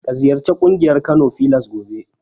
Ka ziyarci ƙungiyar Kano filas gobe.